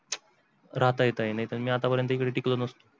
राहत येत नाही तर आता मी इकडे टिकलो नसतो.